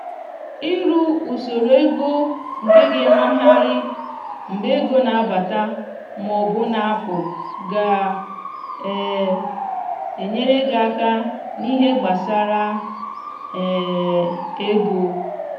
ịrụ usoro ego nke ga-emegharị mgbe ego na-abata ma ọ bụ na apụ ga um enyere gị aka n'ihe gbasara um ego